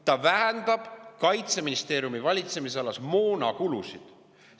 Ta vähendab Kaitseministeeriumi valitsemisalas moonakulusid.